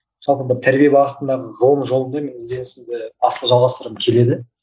жалпы мына тәрбие бағытындағы ғылым жолында мен ізденісімді асылы жалғастырғым келеді